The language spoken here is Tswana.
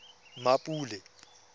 mmapule